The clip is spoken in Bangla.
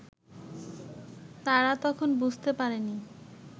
তারা তখন বুঝতে পারেনি